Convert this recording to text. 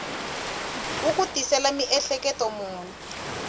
wu ku tisela miehleketo muni